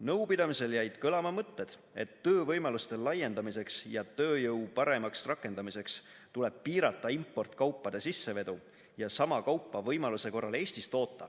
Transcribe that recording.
Nõupidamisel jäid kõlama mõtted, et töövõimaluste laiendamiseks ja tööjõu paremaks rakendamiseks tuleb piirata importkaupade sissevedu ja sama kaupa võimaluse korral Eestis toota,